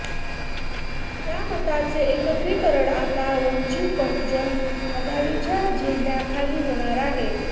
त्या मतांचे एकत्रीकरण आता वंचित बहुजन आघाडीच्या झेंड्याखाली होणार आहे